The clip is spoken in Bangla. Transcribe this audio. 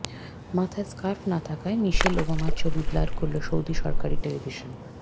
মাথায় স্কার্ফ না থাকায় মিশেল ওবামার ছবি ব্লার করল সৌদির সরকারি টেলিভিশন